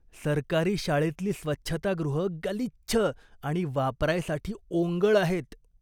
सरकारी शाळेतली स्वच्छतागृहं गलिच्छ आणि वापरायसाठी ओंगळ आहेत.